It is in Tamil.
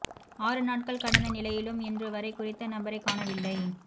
ஆறு நாட்கள் கடந்த நிலையிலும் இன்று வரை குறித்த நபரை காணவில்லை